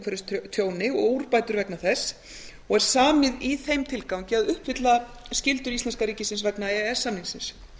gegn umhverfistjóni og úrbætur vegna þess og er samið í þeim tilgangi að uppfylla skyldur íslenska ríkisins vegna e e s samningsins